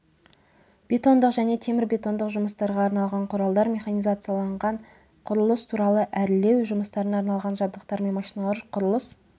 бетондық және темірбетондық жұмыстарға арналған құралдар механизацияланған құрылыс құралы әрлеу жұмыстарына арналған жабдықтар мен машиналар құрылыс